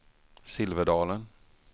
Silverdalen